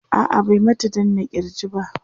a'a bai mata danna kirji ba